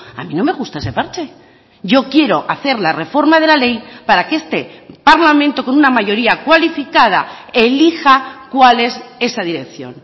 a mí no me gusta ese parche yo quiero hacer la reforma de la ley para que este parlamento con una mayoría cualificada elija cual es esa dirección